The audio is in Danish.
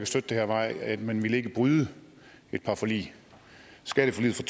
støtte det her var at man ikke ville bryde et par forlig skatteforliget fra